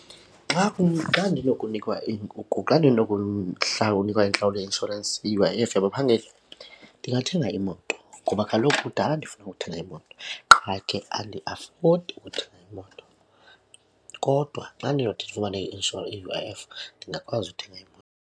Xa xa ndinokunikwa iinkukhu, xa nikwa intlawulo yeinshorensi i-U_I_F yabaphangeli ndingathenga imoto ngoba kaloku kudala ndifuna ukuthenga imoto qha ke andiafodi ukuthenga imoto. Kodwa xa ndinothi ndifumane i-U_I_F ndingakwazi ukuthenga .